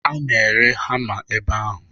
A na-ere hama n'ebe ahụ.